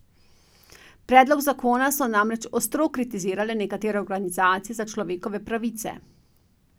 Predlog zakona so namreč ostro kritizirale nekatere organizacije za človekove pravice.